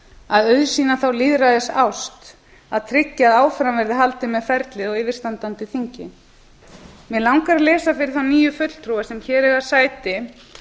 að auðsýna þá lýðræðisást að tryggja að áfram verði haldið með ferlið á yfirstandandi þingi mig langar að lesa fyrir þá nýju fulltrúa sem hér eiga sæti